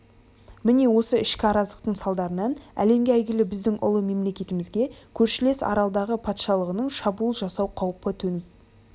міне осы ішкі араздықтың салдарынан әлемге әйгілі біздің ұлы мемлекетімізге көршілес аралдағы патшалығының шабуыл жасау қаупі төніп